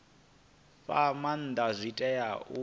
fha maanda zwi tea u